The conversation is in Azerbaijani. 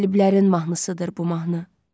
Qaliblərin mahnısıdır bu mahnı.